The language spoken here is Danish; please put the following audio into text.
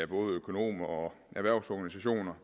både økonomer og erhvervsorganisationer